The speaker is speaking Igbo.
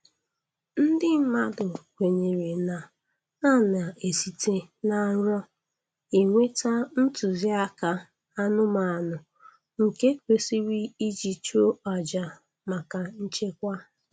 Ndị mmadụ kwenyere na a na-esite na nrọ enweta ntụziaka anụmanụ nke kwesịrị iji chụọ aja maka nchekwa.